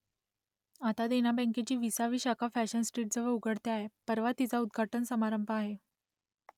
आता देना बँकेची विसावी शाखा फॅशन स्ट्रीटजवळ उघडते आहे , परवा तिचा उद्घाटन समारंभ आहे